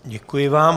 Děkuji vám.